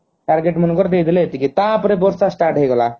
target ମାନେ କର ଦେଇ ଦେଲେ ଏତିକି ତା ପରେ ବର୍ଷା start ହେଇଗଲା